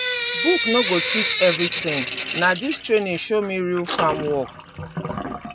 book no go teach everything na this training show me real farm work